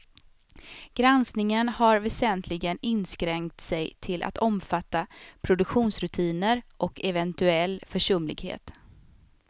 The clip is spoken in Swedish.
Granskningen har väsentligen inskränkt sig till att omfatta produktionsrutiner och eventuell försumlighet.